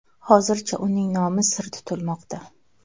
Hozircha uning nomi sir tutilmoqda.